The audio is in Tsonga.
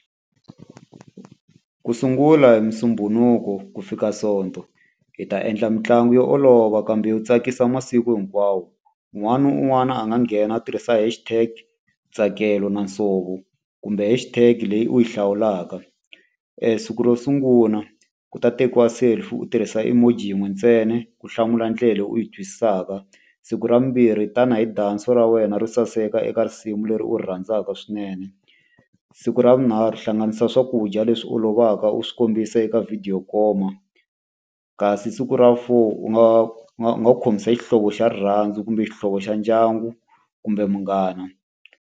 Ku sungula hi Musumbunuko ku fika Sonto, hi ta endla mitlangu yo olova kambe yo tsakisa masiku hinkwawo. Un'wana na un'wana a nga nghena a tirhisa hash tag Ntsakelo na Nsovo kumbe hash tag leyi u yi hlawulaka. Siku ro sungula, ku ta tekiwa selfie u tirhisa imoji yin'we ntsena, u hlamula ndlela u yi twisisaka. Siku ra vumbirhi tanihi dance-o ra wena ro saseka eka risimu leri u rhandzaka swinene. Siku ra vunharhu hlanganisa swakudya leswi olovaka u swi kombisa eka video yo koma. Kasi siku ra vu four u nga u nga u nga u khomisa xihlovo xa rirhandzu, kumbe xihlovo xa ndyangu, kumbe munghana.